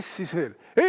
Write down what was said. Kes siis veel?